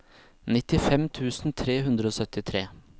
nittifem tusen tre hundre og syttitre